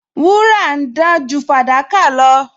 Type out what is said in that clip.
Wúrà ń dán ju fàdákà lọ